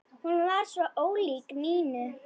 Hún var svo ólík Nínu.